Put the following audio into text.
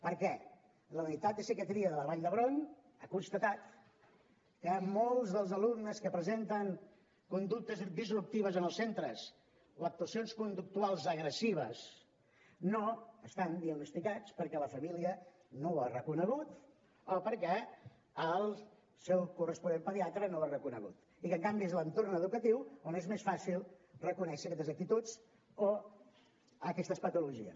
perquè la unitat de psiquiatria de la vall d’hebron ha constatat que molts dels alumnes que presenten conductes disruptives en els centres o actuacions conductuals agressives no estan diagnosticats perquè la família no ho ha reconegut o perquè el seu corresponent pediatra no ho ha reconegut i en canvi és l’entorn educatiu on és més fàcil reconèixer aquestes actituds o aquestes patologies